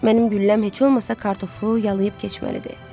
Mənim gülləm heç olmasa kartofu yalıyıb keçməlidir.